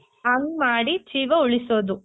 ಹಂಗ್ ಮಾಡಿ ಜೀವ ಉಳಿಸೋದು.